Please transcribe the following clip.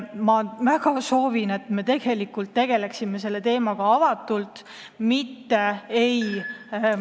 Ma väga soovin, et me tegeleksime selle teemaga avatult, et ei ...